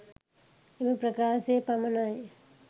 එම ප්‍රකාශය පමණයි.